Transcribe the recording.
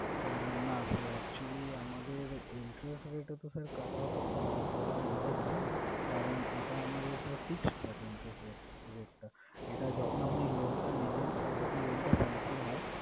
আহ না sir actually আমাদের interest rate এ তো sir cut-off করা ওইভাবে যায়না, কারণ এটা আমাদের sir fixed থাকে interest rate~rate এটা যখন আপনি loan টা নেবেন তো যখন loan টা sanction হয়,